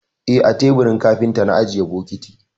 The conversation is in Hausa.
Eh, a teburin kafinta na ajiye bokiti.